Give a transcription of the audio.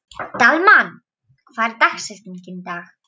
Dalmann, hver er dagsetningin í dag?